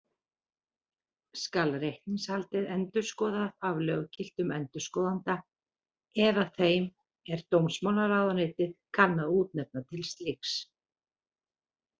Skal reikningshaldið endurskoðað af löggiltum endurskoðanda eða þeim, er dómsmálaráðuneytið kann að útnefna til slíks.